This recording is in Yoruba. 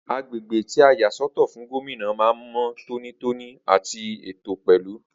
Agbègbè tí a yà sọ́tọ̀ fún Gómìnà man mọ tóní tóní àti ètò pẹlú